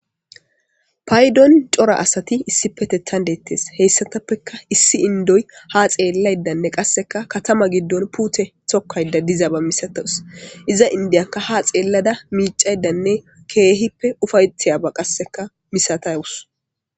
Paydon cora asati issipetethan deettes heyssatappeka issi indoy ha xeellaydanne qasseka katama giddon pute tokkayda diza ba misatawus iza indiyakka ha xeellada miicaydanne keehippe ufayetiyaba qasseka misataywus.